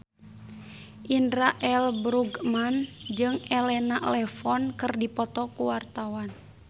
Indra L. Bruggman jeung Elena Levon keur dipoto ku wartawan